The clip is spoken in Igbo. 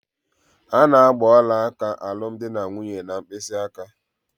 A na-agba ọlaaka alụmdinanwunye n'mkpịsịaka.